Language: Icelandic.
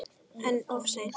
En of seint?